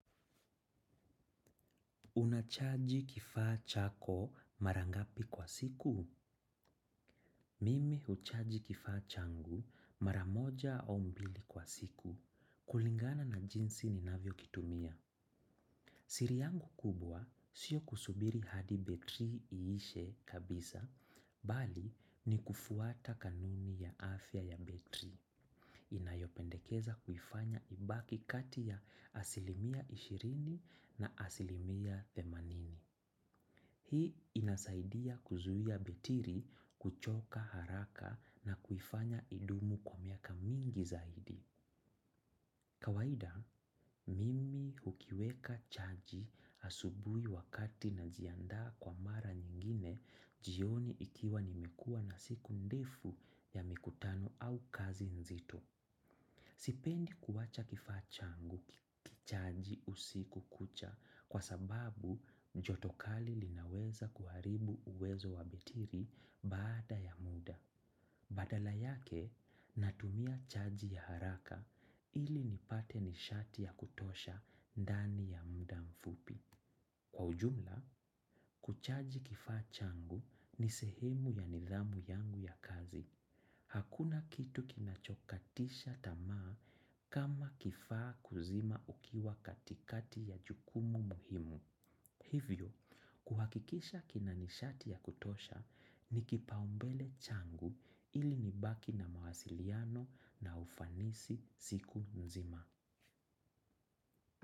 Unachaji kifaa chako mara ngapi kwa siku? Mimi huchaji kifaa changu mara moja au mbili kwa siku kulingana na jinsi ninavyokitumia. Siri yangu kubwa sio kusubiri hadi betri iishe kabisa, bali ni kufuata kanuni ya afya ya betri. Inayopendekeza kuifanya ibaki kati ya asilimia ishirini na asilimia themanini. Hii inasaidia kuzuia betiri kuchoka haraka na kuifanya idumu kwa miaka mingi zaidi. Kawaida, mimi hukiweka chaji asubuhi wakati najiandaa kwa mara nyingine jioni ikiwa nimekuwa na siku ndefu ya mikutano au kazi nzito. Sipendi kuwacha kifaa changu kichaji usiku kucha kwa sababu jotokali linaweza kuharibu uwezo wa betiri baada ya muda. Badala yake natumia chaji ya haraka ili nipate nishati ya kutosha ndani ya muda mfupi. Kwa ujumla, kuchaji kifaa changu ni sehemu ya nidhamu yangu ya kazi. Hakuna kitu kinachokatisha tamaa kama kifaa kuzima ukiwa katikati ya jukumu muhimu. Hivyo, kuhakikisha kina nishati ya kutosha ni kipaumbele changu ili nibaki na mawasiliano na ufanisi siku nzima.